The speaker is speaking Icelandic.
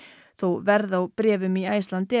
þó verð á bréfum í Icelandair